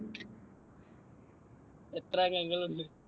എത്ര അംഗങ്ങൾ ഉണ്ട്?